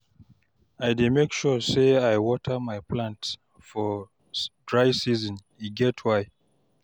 I dey make sure sey I water my plants for dry season, e get why.